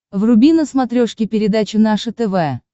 вруби на смотрешке передачу наше тв